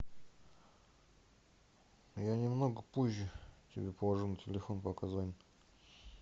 я немного позже тебе положу на телефон пока занят